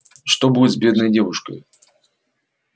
что будет с бедной девушкою